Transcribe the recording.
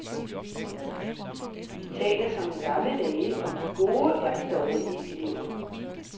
De taler som i gamle dage om de gode og de dårlige elever.